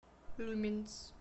люминс